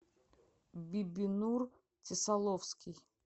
бибинур тесаловский